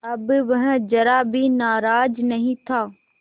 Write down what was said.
अब वह ज़रा भी नाराज़ नहीं था